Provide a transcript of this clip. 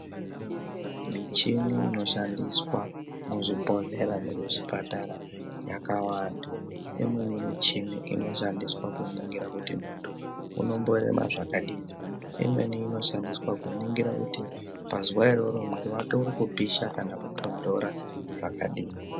Michini inoshandiswa muzvibhedhlera nomuzvipatara yakawanda. Imweni michini inoshandiswa kuningira kuti muntu unomborema zvakadini imweni inoshandiswa kuningira kuti pazuwa iroro mwiri wake uri kupisha kana kutondora zvakadini.